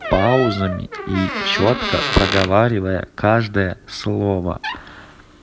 паузами и чётко проговаривая каждое слово